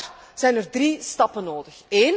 Vandaag zijn er drie stappen nodig.